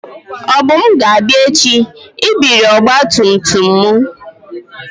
Obum ga-abia echi ibiri ọgba tum tum m.